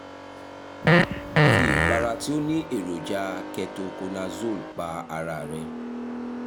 fi ìpara tí ó ní èròjà cs] ketoconazole pa ara rẹ